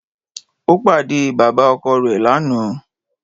Ó pàdé e bàbá ọkọ rè lánàá